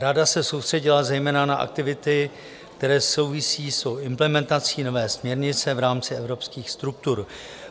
Rada se soustředila zejména na aktivity, které souvisejí s implementací nové směrnice v rámci evropských struktur.